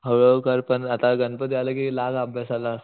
हळू हळू कर पण आता गणपती आले कि लाग अभ्यासाला.